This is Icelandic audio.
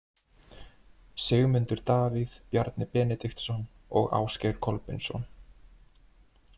Sigmundur Davíð, Bjarni Benediktsson og Ásgeir Kolbeinsson.